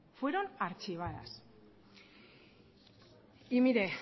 fueron archivadas y mire